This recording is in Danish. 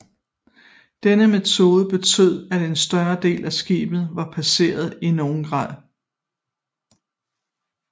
Denne metode betød at en større del af skibet var pansret i nogen grad